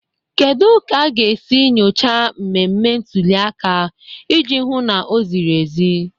Kedu ka a ga-esi nụchaa mmemme ntuli aka iji hụ na o ziri ezi?